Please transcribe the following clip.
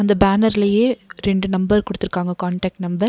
இந்த பேனர்லியே ரெண்டு நம்பர் குடுத்துருக்காங்க கான்டேக்ட் நம்பர் .